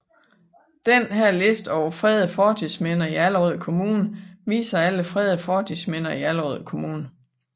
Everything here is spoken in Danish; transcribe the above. Denne liste over fredede fortidsminder i Allerød Kommune viser alle fredede fortidsminder i Allerød Kommune